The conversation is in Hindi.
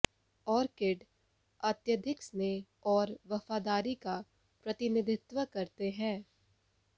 ऑर्किड अत्यधिक स्नेह और वफादारी का प्रतिनिधित्व करते हैं